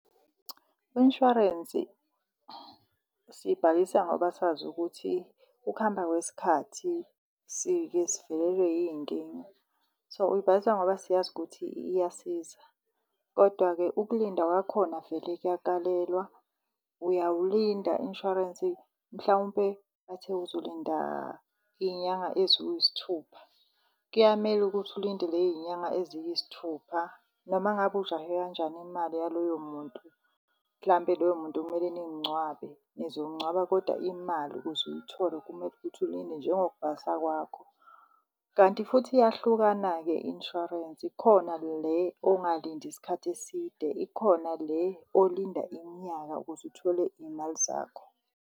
Insurance siyibhalisa ngoba sazi ukuthi ukuhamba kwesikhathi sike sivelelwe yiy'nkinga. So, uyibhalisa ngoba siyazi ukuthi iyasiza. Kodwa-ke ukulinda kwakhona vele kuyakalelwa, uyawulinda insurance mhlawumpe bathe uzolinda iy'nyanga eziwusithupha. Kuyamele ukuthi ulinde ley'nyanga eziyisithupha noma ngabe ujahe kanjani imali yaloyo muntu. Mhlampe loyo muntu kumele nimngcwabe, nizomngcwaba koda imali ukuze uyithole kumele ukuthi ulinde njengokubhalisa kwakho. Kanti futhi iyahlukana-ke insurance, ikhona le ongalindi isikhathi eside, ikhona le olinda iminyaka ukuze uthole iy'mali zakho.